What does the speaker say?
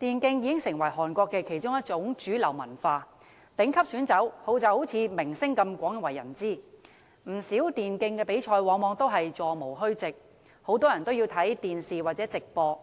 電競已經成為韓國的其中一種主流文化，頂級選手就像明星般廣為人知，不少電競比賽往往座無虛席，很多人都要收看電視或網絡直播。